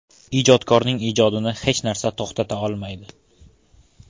Ijodkorning ijodini hech narsa to‘xtata olmaydi.